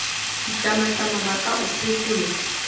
ditlamatlama ba ka o phekola